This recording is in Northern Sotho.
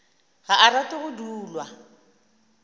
ga a rate go dulwa